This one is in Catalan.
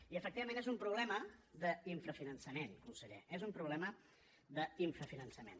i efectivament és un problema d’infrafinançament conseller és un problema d’infrafinançament